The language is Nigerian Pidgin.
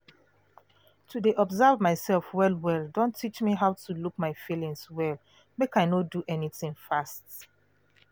to de observe mysef well well don teach me how to look my feelings well make i no do anything fast